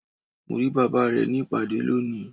Mo ri baba rẹ ni ipade loni